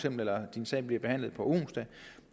eller at ens sag bliver behandlet på onsdag